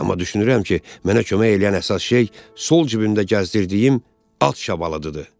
Amma düşünürəm ki, mənə kömək eləyən əsas şey sol cibimdə gəzdirdiyim at şabalıdıdır.